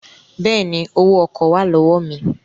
Bẹ́ẹ̀ni, Owó ọkọ̀ wà lọ́wọ́ mi